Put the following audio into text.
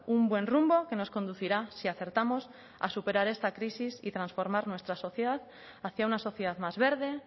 un buen rumbo que nos conducirá si acertamos a superar esta crisis y transformar nuestra sociedad hacia una sociedad más verde